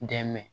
N dɛmɛ